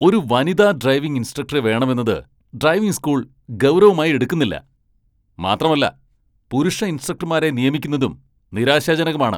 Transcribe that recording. ഒരു വനിതാ ഡ്രൈവിംഗ് ഇൻസ്ട്രക്ടറെ വേണമെന്നത് ഡ്രൈവിംഗ് സ്കൂൾ ഗൗരവമായി എടുക്കുന്നില്ല, മാത്രമല്ല പുരുഷ ഇൻസ്ട്രക്ടർമാരെ നിയമിക്കുന്നതും നിരാശാജനകമാണ്.